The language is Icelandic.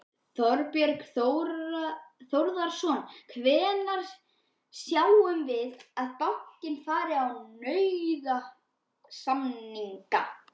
Þorbjörn Þórðarson: Hvenær sjáum við að bankinn fari í nauðasamninga?